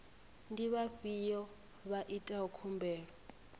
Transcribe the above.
ndi vhafhiyo vha itaho khumbelo